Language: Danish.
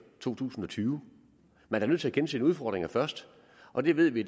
to tusind og tyve man er nødt til at kende sine udfordringer først og det ved vi